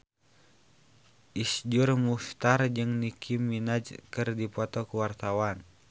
Iszur Muchtar jeung Nicky Minaj keur dipoto ku wartawan